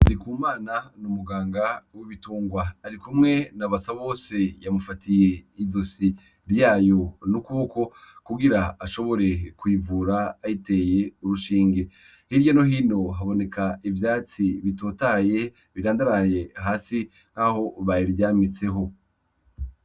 Arikumana ni'umuganga w'ibitungwa arikumwe na Basabose yamufatiye izosi ryayo n'ukuboko kugira ashobore kuyivura ayiteye urushinge, hirya no hino haboneka ivyatsi bitotahaye birandaraye hasi nk'aho bayiryamitseho.